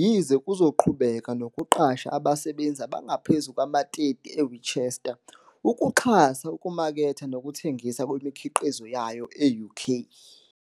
yize kuzoqhubeka nokuqasha abasebenzi abangaphezu kwama-30 eWinchester ukuxhasa ukumaketha nokuthengiswa kwemikhiqizo yayo e-UK.